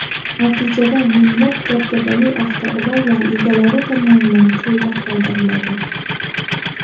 Natijada, minglab dabdabali avtoulovlar egalari tomonidan cho‘lda qoldiriladi.